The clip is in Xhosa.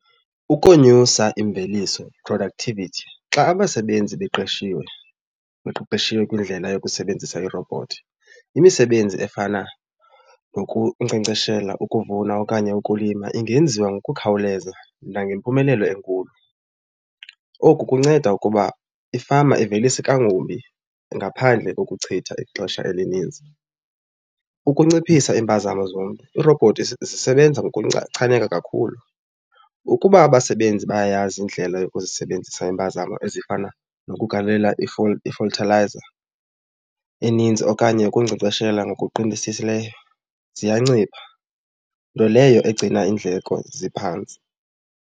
Ukonyusa imveliso, productivity. Xa abasebenzi beqeshiwe, beqeqeshiwe kwindlela yokusebenzisa irobhothi, imisebenzi efana nokunkcenkceshela, ukuvuna okanye ukulima ingenziwa ngokukhawuleza nangempumelelo enkulu. Oku kunceda ukuba ifama ivelise kangubi ngaphandle kokuchitha ixesha elininzi. Ukunciphisa iimpazamo zomntu, iirobhothi zisebenza kakhulu. Ukuba abasebenzi bayayazi indlela yokuzisebenzisa iimpazamo ezifana nokugalela i-fertilizer eninzi okanye ukunkcenkceshela ngokuqinisisileyo ziyancipha, nto leyo egcina iindleko ziphantsi.